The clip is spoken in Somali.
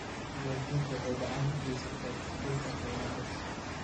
Diiwaangelintu waxay gacan ka geysataa kordhinta qiimaha dhulka.